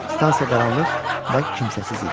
Stansiya qaranlıq və kimsəsiz idi.